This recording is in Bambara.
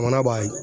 Mana b'a